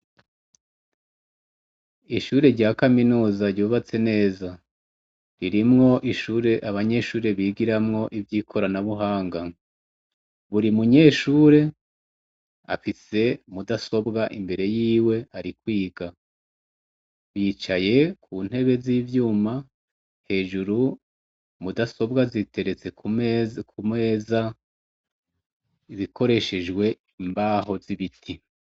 Ishure rya kaminuza ryubatse neza ririmw' ishure, abanyeshure bigiramw' ivyikorana buhanga, buri munyeshur' afise mudasobw' imbere yiw' arikwiga bicaye ku ntebe z' ivyuma hejuru mudasobwa ziteretse kumeza zikoreshejw' imbaho z' ibiti.